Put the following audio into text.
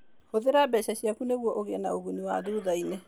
Hũthĩra mbeca ciaku nĩguo ũgĩe na ũguni wa thutha-inĩ.